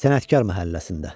Sənətkar məhəlləsində.